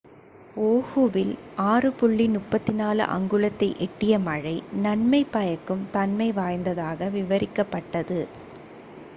"ஓஹுவில் 6.34 அங்குலத்தை எட்டிய மழை "நன்மை பயக்கும் தன்மை வாய்ந்ததாக" விவரிக்கப்பட்டது.